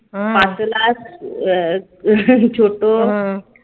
পাতলা ছোট